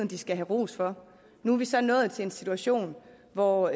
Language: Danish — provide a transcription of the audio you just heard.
de skal have ros for nu er vi så nået til en situation hvor